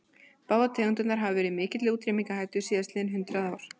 Báðar tegundirnar hafa verið í mikilli útrýmingarhættu síðastliðin hundrað ár.